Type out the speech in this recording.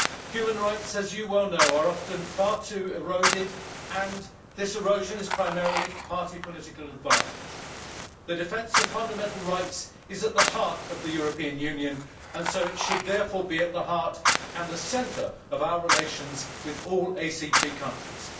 Human rights, as you well know, are often far too eroded, and this erosion is primarily for party political advantage. The defence of fundamental rights is at the heart of the European Union, and so it should therefore be at the heart and the centre of our relations with all ACP countries.